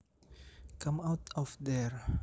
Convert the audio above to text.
Come out of there